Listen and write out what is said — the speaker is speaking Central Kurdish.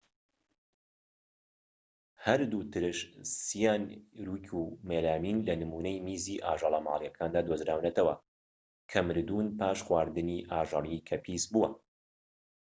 هەردوو ترش سیانوریك و مێلامین لە نمونەی میزی ئاژەلە مالیەکاندا دۆزراونەتەوە کە مردوون پاش خواردنی ئاژەڵیی کە پیسبووە